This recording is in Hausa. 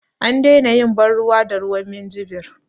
An daina yin ban ruwa da ruwan minjibir